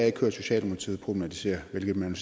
ikke hørt socialdemokratiet problematisere hvilket man